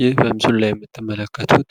ይህ በምስሉ ላይ የምትመለከቱት